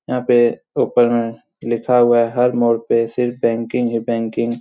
यहाँ पे ऊपर में लिखा हुआ है हर मोड़ पे सिर्फ बैंकिंग ही बैंकिंग ।